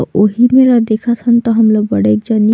अउ उ ही मेरा देखत तन त बड़ेक जनि--